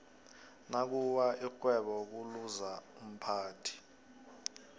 nakuwa ixhwebo kuluza umphathi